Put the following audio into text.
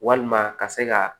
Walima ka se ka